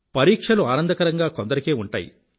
పరీక్షలు ఆనందకరంగా కొందరికే ఉంటాయి